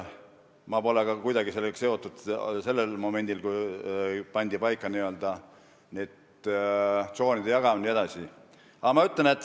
Ma polnud kuidagi sellega seotud sellel momendil, kui pandi paika see n-ö tsoonideks jagamine jne.